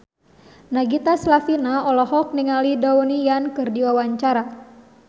Nagita Slavina olohok ningali Donnie Yan keur diwawancara